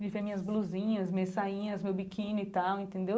E via minhas blusinhas, minhas sainhas, meu biquíni e tal, entendeu?